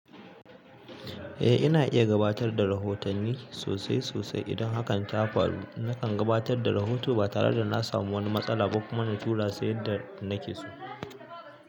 Eh ina iya gabatar da rahotanni sosai sosai idan hakan ta faru. Nakan gabatar da rahoto ba tare da na samu wani matsala ba kuma na tura sai yadda nake so.